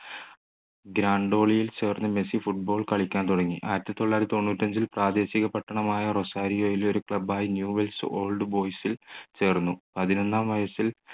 ചേർന്ന് Messi football കളിക്കാൻ തുടങ്ങി. ആയിരത്തി തൊള്ളായിരത്തി തൊണ്ണൂറ്റിയഞ്ചിൽ പ്രാദേശിക പട്ടണം ആയ റൊസാരിയോയിൽ ഒരു club യ ന്യൂ വെൽസ് ഓൾഡ് ബോയ്സിൽ ചേർന്നു പതിനൊന്നാം വയസ്സിൽ